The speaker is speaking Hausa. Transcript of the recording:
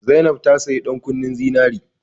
Zainab ta saya ɗan kunnen zinari